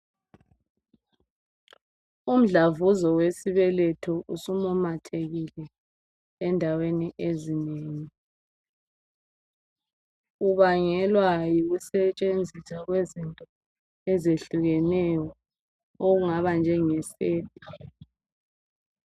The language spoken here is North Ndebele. Umdlavuza wesibetho usimumathekile endaweni ezinengi. Ubangelwa yokusetshenziswa kwezinto ezehlukeneyo okungaba njengesepa.